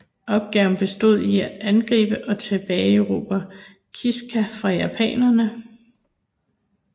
Opgaven bestod i at angribe og tilbageerobre Kiska fra japanerne